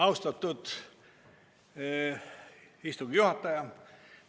Austatud istungi juhataja!